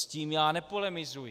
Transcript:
S tím já nepolemizuji.